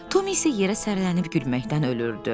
Tom isə yerə sərilənib gülməkdən ölürdü.